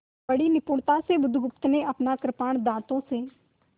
बड़ी निपुणता से बुधगुप्त ने अपना कृपाण दाँतों से